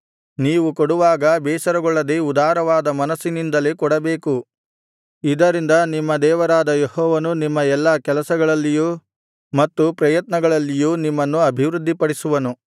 ನೀವು ಕೊಡುವಾಗ ಬೇಸರಗೊಳ್ಳದೆ ಉದಾರವಾದ ಮನಸ್ಸಿನಿಂದಲೇ ಕೊಡಬೇಕು ಇದರಿಂದ ನಿಮ್ಮ ದೇವರಾದ ಯೆಹೋವನು ನಿಮ್ಮ ಎಲ್ಲಾ ಕೆಲಸಗಳಲ್ಲಿಯೂ ಮತ್ತು ಪ್ರಯತ್ನಗಳಲ್ಲಿಯೂ ನಿಮ್ಮನ್ನು ಅಭಿವೃದ್ಧಿಪಡಿಸುವನು